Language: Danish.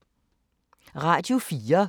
Radio 4